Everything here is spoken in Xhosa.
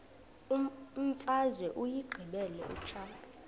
imfazwe uyiqibile utshaba